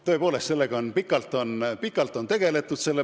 Tõepoolest, selle probleemiga on pikalt tegeletud.